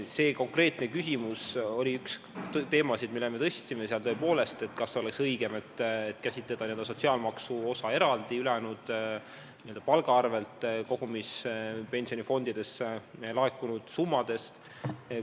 See konkreetne küsimus oli üks teemasid, mille me üles tõstsime: tõepoolest, kas oleks õigem n-ö sotsiaalmaksu osa ülejäänud, palga arvel kogumispensioni fondidesse laekunud summadest eraldi käsitleda?